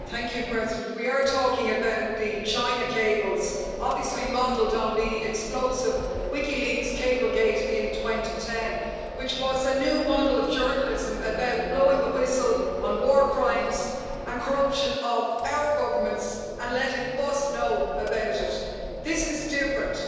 Madam President, we are talking about the China cables obviously modelled on the explosive WikiLeaks Cablegate in 2010, which was a new model of journalism about blowing the whistle on war crimes and corruption of our governments and letting us know about it but this is different.